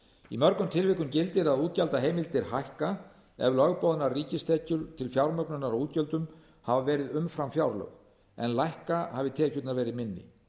í mörgum tilvikum gildir að útgjaldaheimildir hækka ef lögboðnar ríkistekjur til fjármögnunar á útgjöldum hafa verið umfram fjárlög en lækka hafi tekjurnar verið minni